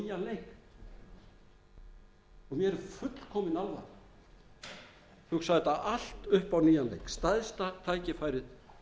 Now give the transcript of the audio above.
nýjan leik og mér er fullkomin alvara hugsa þetta allt upp á nýjan leik stærsta tækifærið sem við